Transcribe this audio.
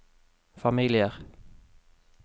familier